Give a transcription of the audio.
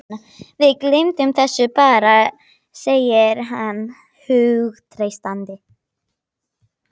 Við gleymum þessu bara, segir hann hughreystandi.